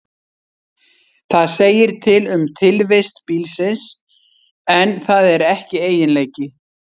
Það segir til um tilvist bílsins, en það er ekki eiginleiki.